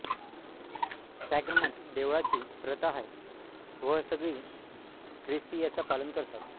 sacrament देवळाची प्रता हाय वह सगळी ख्रिस्ती याचा पालन करतात